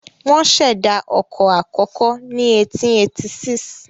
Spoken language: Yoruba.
Wọ́n ṣẹ̀dá ọkọ̀ àkọ́kọ́ ní 1886.